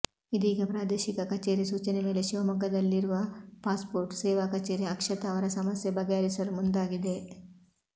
ಇದೀಗ ಪ್ರಾದೇಶಿಕ ಕಚೇರಿ ಸೂಚನೆ ಮೇಲೆ ಶಿವಮೊಗ್ಗದಲ್ಲಿರುವ ಪಾಸ್ಪೋರ್ಟ್ ಸೇವಾ ಕಚೇರಿ ಅಕ್ಷತಾ ಅವರ ಸಮಸ್ಯೆ ಬಗೆಹರಿಸಲು ಮುಂದಾಗಿದೆ